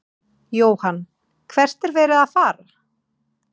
Jóhann: Hvert er verið að fara?